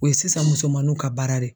O ye sisan musomanunw ka baara de ye.